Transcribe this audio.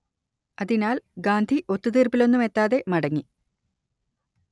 അതിനാൽ ഗാന്ധി ഒത്തുതീർപ്പിലൊന്നും എത്താതെ മടങ്ങി